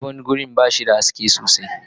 Sabon wurin ba shi da haske mai kyau.